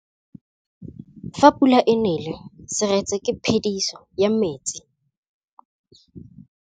Fa pula e nelê serêtsê ke phêdisô ya metsi.